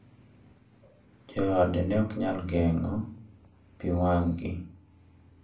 Joode ne ok nyal geng`o pi wang`gi.